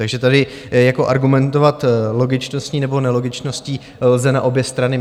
Takže tady jako argumentovat logičností nebo nelogičností lze na obě strany.